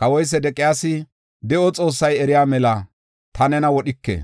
Kawoy Sedeqiyaasi, “De7o Xoossay eriya mela, ta nena wodhike;